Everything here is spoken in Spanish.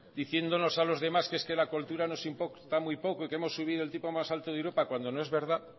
diciéndonos a los demás que es que la cultura nos importan muy poco y que hemos subido el tipo más alto de europa cuando no es verdad